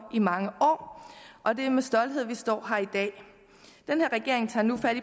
i mange år og det er med stolthed vi står her i dag den her regering tager nu fat